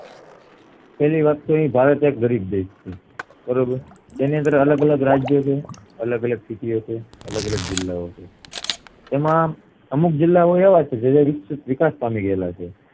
પેલી વાત તો ઈ ભારત એક ગરીબ દેશ છે બરોબર તેની અંદર અલગઅલગ રાજ્ય છે અલગઅલગ city ઓ છે અલગઅલગ જિલ્લાઓ છે તેમાં અમુક જિલ્લા ઓ એવા છે જે વિકાસ પામી ગયેલા છે